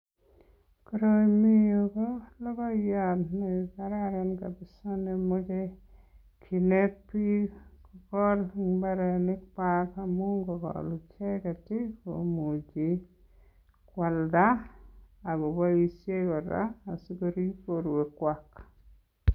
Koroi mi yu ko logoyan ne kararan kabisa nemoche kinet biik kogol en mbarenikwag amun ngokogol icheget komuchi koalda ago boisien kora asikorib borwekwag.